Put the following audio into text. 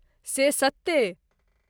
से सत्ते।